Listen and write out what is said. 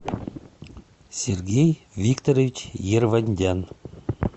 сергей викторович ервандян